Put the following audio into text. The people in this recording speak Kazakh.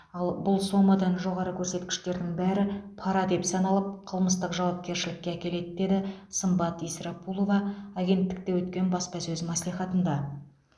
ал бұл сомадан жоғары көрсеткіштердің бәрі пара деп саналып қылмыстық жауапкершілікке әкеледі деді сымбат исрапулова агенттікте өткен баспасөз мәслихатында